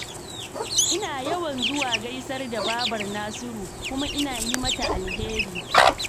Ina yawan zuwa gaisar da babar Nasiru, kuma ina yi mata alheri.